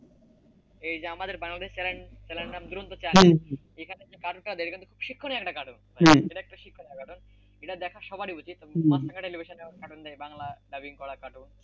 এই যে আমাদের বাংলাদেশের চ্যানেলটা দুরন্ত চ্যানেল এখানে যে কার্টুনটা হয় সেটা খুবই শিক্ষণীয় একটা কার্টুন এটা দেখা সবারই উচিত বাংলা টেলিভিশনে দেয় বাংলা dubbing করা কার্টুন,